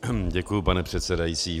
Děkuji, pane předsedající.